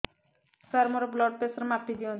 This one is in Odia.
ସାର ମୋର ବ୍ଲଡ଼ ପ୍ରେସର ମାପି ଦିଅନ୍ତୁ